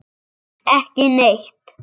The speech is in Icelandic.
Ekki neitt?